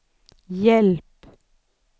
hjälp